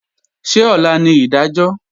Ṣé ọ̀la ni ìdájọ́?